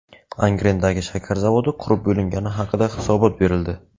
Angrendagi shakar zavodi qurib bo‘lingani haqida hisobot berildi.